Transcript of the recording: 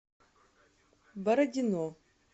бородино